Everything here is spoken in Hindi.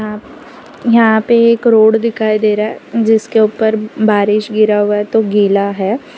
यहां पे एक रोड दिखाई दे रहा है जिसके ऊपर बारिश गिरा हुआ है तो गीला है।